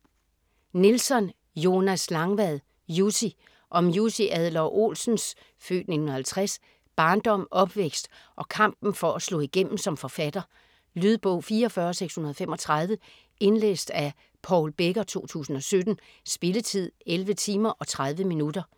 Nilsson, Jonas Langvad: Jussi Om Jussi Adler-Olsens (f. 1950) barndom, opvækst og kampen for at slå igennem som forfatter. Lydbog 44635 Indlæst af Paul Becker, 2017. Spilletid: 11 timer, 30 minutter.